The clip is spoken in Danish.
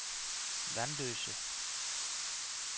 Vanløse